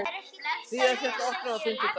Hlíðarfjall opnar á fimmtudag